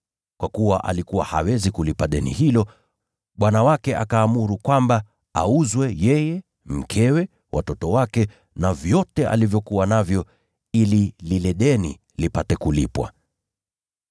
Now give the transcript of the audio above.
Kwa kuwa alikuwa hawezi kulipa deni hilo, bwana wake akaamuru kwamba auzwe, yeye, mkewe, watoto wake na vyote alivyokuwa navyo, ili lile deni lipate kulipwa.